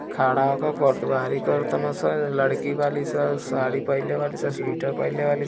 खड़ा होके फोटवाली करतसं लड़की बाड़ीसन साड़ी पहने वाली सन स्वेटर पहने वाली --